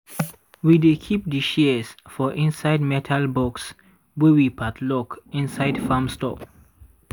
we dey keep di shears for inside metal box wey we padlock inside farm store.